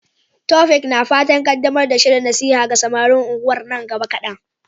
Taofiq na fatan kaddamar da shirin nasiha ga samarin unguwar nan gaba kadan.